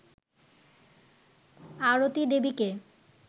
আরতি দেবীকে